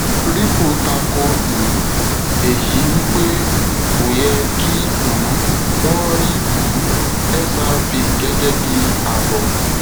ripple tako um èyí wípé kò yẹ kí um wón rí um xrp gẹgẹ bíi àbọ